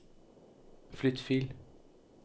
flytt fil